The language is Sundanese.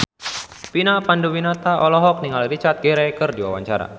Vina Panduwinata olohok ningali Richard Gere keur diwawancara